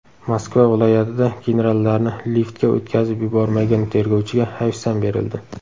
Moskva viloyatida generallarni liftga o‘tkazib yubormagan tergovchiga hayfsan berildi.